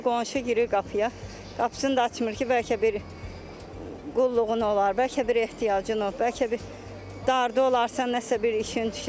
İndi qonşu girir qapıya, qapısını da açmır ki, bəlkə bir qulluğun olar, bəlkə bir ehtiyacın olar, bəlkə bir dardı olarsan, nə isə bir işin düşər.